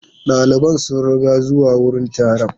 Daliban sun ruga zuwa wurin taron.